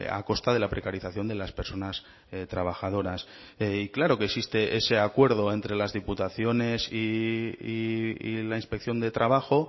a costa de la precarización de las personas trabajadoras y claro que existe ese acuerdo entre las diputaciones y la inspección de trabajo